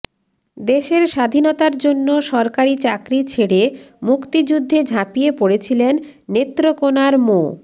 দেশের স্বাধীনতার জন্য সরকারি চাকরি ছেড়ে মুক্তিযুদ্ধে ঝাঁপিয়ে পড়েছিলেন নেত্রকোনার মো